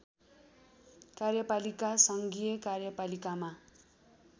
कार्यपालिका सङ्घीय कार्यपालिकामा